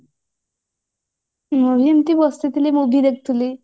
ମୁଁ ଏମତି ବସିଥିଲି movie ଦେଖୁଥିଲି